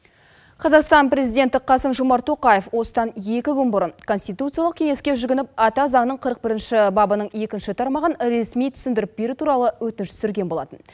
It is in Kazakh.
қазақстан президенті қасым жомарт тоқаев осыдан екі күн бұрын конституциялық кеңеске жүгініп ата заңның қырық бірінші бабының екінші тармағын ресми түсіндіріп беру туралы өтініш түсірген болатын